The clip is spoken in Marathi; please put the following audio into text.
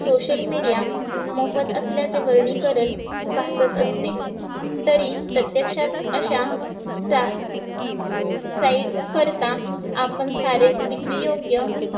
social media मोफत असल्याचे वर्गीकरण भाचत असते तरी प्रत्यक्षात अशा site करता आपण सारेच विक्री योग्य